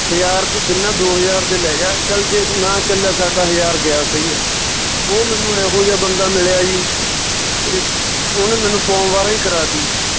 ਹਜਾਰ ਤੂੰ ਗੰਨਾ ਦੋ ਹਜਾਰ ਦਾ ਲੈਜਾ ਚੱਲ ਜੇ ਨਾ ਚੱਲਿਆ ਸਾਡਾ ਹਜਾਰ ਗਿਆ ਉਹ ਮੈਨੂੰ ਇਹੋ ਜਿਹਾ ਬੰਦਾ ਮਿਲਿਆ ਸੀ ਤੇ ਉਹਨੇ ਮੈਨੂੰ ਪੌਂ ਬਾਰਾਂ ਹੀ ਕਰਾਤੀ ਜੀ